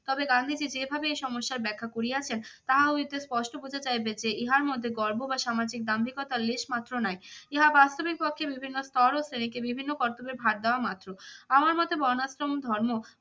তবে গান্ধীজী যেভাবে এই সমস্যার ব্যাখ্যা করিয়াছেন তাহা হইতে স্পষ্ট বোঝা যাইবে যে ইহার মধ্যে গর্ব বা সামাজিক দাম্ভিকতার লেশমাত্র নাই। ইহা বাস্তবিক পক্ষে বিভিন্ন স্তর ও শ্রেণীকে বিভিন্ন কর্তব্যের ভার দেওয়া মাত্র। আমার মতে বর্ণাশ্রম ধর্ম